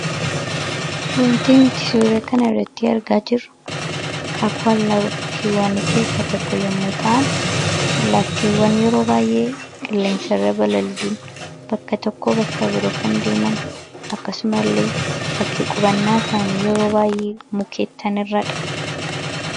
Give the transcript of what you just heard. Wanti nuti suuraa kanarratti argaa jirru akaakuu allaattii keessaa tokko yommuu ta'an, allaattiiwwan yeroo baay'ee qilleensarra balali'uun bakka tokkoo bakka biroo kan deeman akkasumallee bakki qubannaa isaanii mukkeen irradha.